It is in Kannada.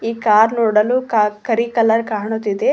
ಈ ಕಾರ್ ನೋಡಲು ಕಾರ್ ಕರಿ ಕಲರ್ ಕಾಣುತ್ತಿದೆ.